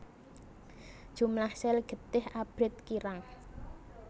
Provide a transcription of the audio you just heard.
Jumlah sel getih abrit kirang